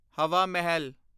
ਹਵਾ ਮਹਿਲ